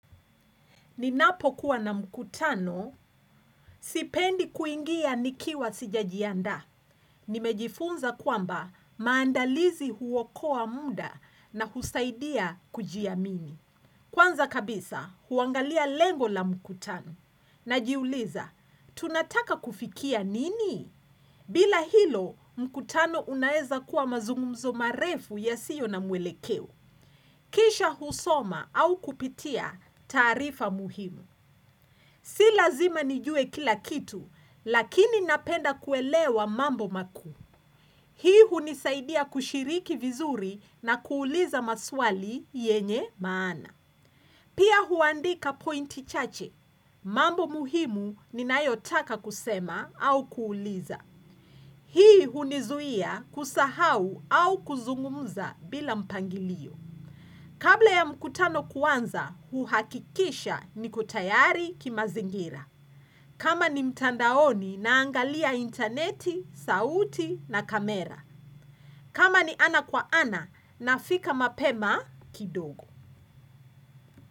Ninapo kuwa na mkutano, sipendi kuingia nikiwa sijajiandaa. Nimejifunza kwamba maandalizi huokoa muda na husaidia kujiamini. Kwanza kabisa, kuangalia lengo la mkutano. Najiuliza, tunataka kufikia nini? Bila hilo, mkutano unaeza kuwa mazungumzo marefu yasio na mwelekeo. Kisha husoma au kupitia tarifa muhimu. Si lazima nijue kila kitu, lakini napenda kuelewa mambo makuu. Hii hunisaidia kushiriki vizuri na kuuliza maswali yenye maana. Pia huandika pointi chache. Mambo muhimu ninayotaka kusema au kuuliza. Hii hunizuia kusahau au kuzungumza bila mpangilio. Kabla ya mkutano kuanza, huhakikisha niko tayari kimazingira. Kama ni mtandaoni naangalia interneti, sauti na kamera. Kama ni ana kwa ana nafika mapema kidogo.